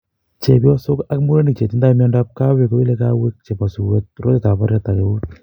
Chepyosok ak murenik chetindoi miondap kawek koile kawek chepo suet, rotet ap patet ak kout